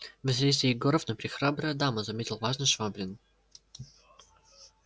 василиса егоровна прехрабрая дама заметил важно швабрин